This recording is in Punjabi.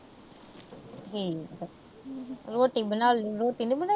ਠੀਕ ਆ। ਰੋਟੀ ਬਣਾ ਲੈਂਦੀ। ਰੋਟੀ ਨੀ ਬਣਾਈ।